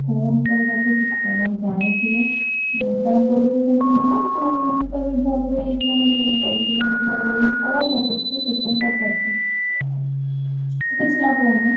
phone କରେ ତାକୁ ସିଏ କଣ ଜାଣିଥିବ କାଇଁ ନା ତୋର ବି ସେମିତି ହୁଏ ନା ତୁ ତୋର ବି ଭଲହେଇଯାଇଥିଲା ମଝିରେ ମୁ କହିଲି ସେଇଥିଲାଗି ତୋର ଭଲ ହେଇଯାଇଛି କଣ ଲଗଉଥିଲୁ ସେଇଥିପାଇଁ ପଚାରୁଥିଲି ତୁ ଲିଛି ଲଗଉନୁ?